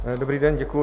Dobrý den, děkuji.